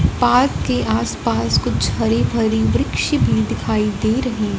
park के आसपास कुछ हरी भरी वृक्ष भी दिखाई दे रही--